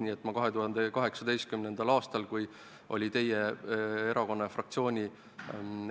Nii et 2018. aastal, kui menetluses oli teie erakonna ja fraktsiooni